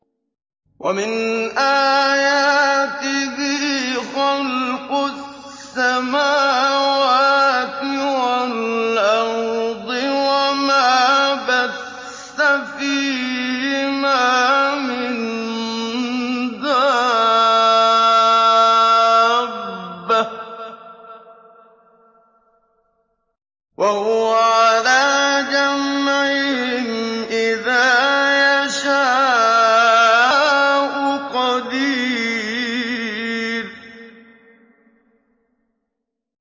وَمِنْ آيَاتِهِ خَلْقُ السَّمَاوَاتِ وَالْأَرْضِ وَمَا بَثَّ فِيهِمَا مِن دَابَّةٍ ۚ وَهُوَ عَلَىٰ جَمْعِهِمْ إِذَا يَشَاءُ قَدِيرٌ